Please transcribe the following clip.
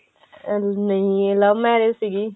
ਨਹੀ ਇਹ love marriage ਸੀਗੀ